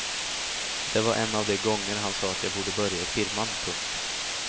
Det var en av de gånger han sa att jag borde börja i firman. punkt